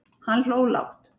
Hann hló lágt.